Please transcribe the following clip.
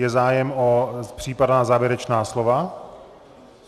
Je zájem o případná závěrečná slova?